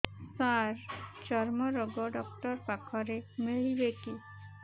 ସାର ଚର୍ମରୋଗ ଡକ୍ଟର ପାଖରେ ମିଳିବେ କି